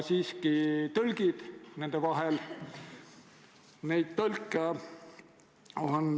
Sellise kutsetunnistusega tõlke on Eestis praegu 24, kutseõppega lisandub veel kümme, aga tegelik vajadus on üle kahe korra suurem.